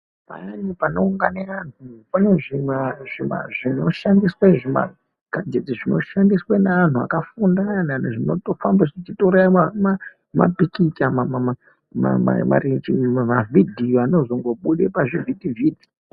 Pamweni panoungana antu pane neantu akafunda kana zvinoita mapikicha marenje mavidhiyo anozongobuda pazvivhiti vhiti.